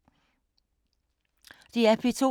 DR P2